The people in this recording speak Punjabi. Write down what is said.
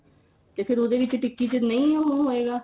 ਤੇ ਫੇਰ ਉਹਦੇ ਵਿੱਚ ਟਿੱਕੀ ਵਿੱਚ ਨਹੀਂ ਹੁਣ ਹੋਏਗਾ